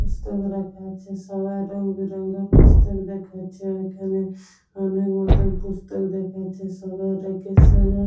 পুস্তক রাখা আছে সবাই রংবেরঙ্গের পুস্তক দেখাচ্ছে ঐখানে মনের মত পুস্তক দেখাচ্ছে সবার একই সবার ।